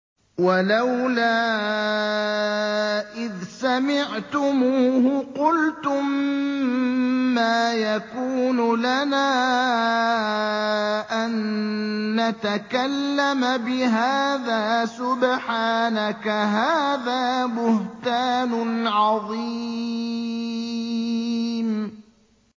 وَلَوْلَا إِذْ سَمِعْتُمُوهُ قُلْتُم مَّا يَكُونُ لَنَا أَن نَّتَكَلَّمَ بِهَٰذَا سُبْحَانَكَ هَٰذَا بُهْتَانٌ عَظِيمٌ